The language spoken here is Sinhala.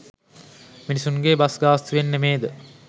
මිනිස්සුන්ගේ බස් ගාස්තුවෙන් නෙමේද?